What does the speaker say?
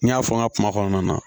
N y'a fɔ n ka kuma kɔnɔna na